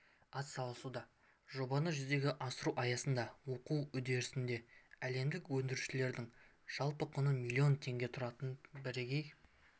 атсалысуда жобаны жүзеге асыру аясындағы оқу үдерісінде әлемдік өндірушілердің жалпы құны миллион теңге тұратын бірегей